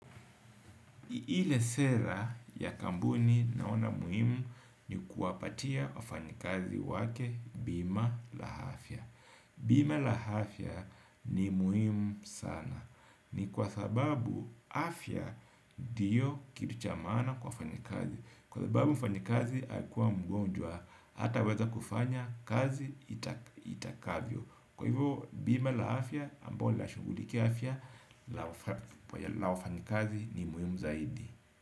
Ile sera ya kampuni naona muhimu ni kuwapatia wafanyikazi wake bima la afya. Bima la hafya ni muhimu sana. Ni kwa sababu afya ndio kitu cha maana kwa wafanyikazi. Kwa sababu mfanyikazi akiwa mgonjwa hata weza kufanya kazi itakavyo. Kwa hivyo bima la afya ambayo lina shughuliki afya la wafanyikazi ni muhimu zaidi.